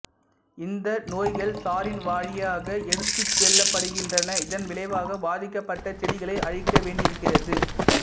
இந்த நோய்கள் சாறின் வழியாக எடுத்துச்செல்லப்படுகின்றன இதன்விளைவாக பாதிக்கப்பட்ட செடிகளை அழிக்க வேண்டியிருக்கிறது